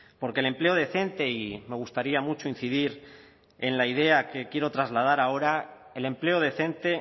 porque el empleo decente y me gustaría mucho incidir en la idea que quiero trasladar ahora el empleo decente